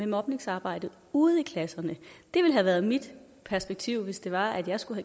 mobningsarbejde ude i klasserne det ville have været mit perspektiv hvis det var at jeg skulle